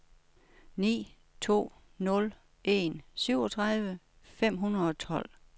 ni to nul en syvogtredive fem hundrede og tolv